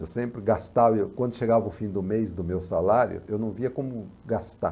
Eu sempre gastava, e eu quando chegava o fim do mês do meu salário, eu não via como gastar.